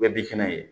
Bɛɛ bi kɛnɛ ye